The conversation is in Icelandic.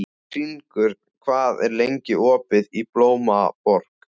Hringur, hvað er lengi opið í Blómaborg?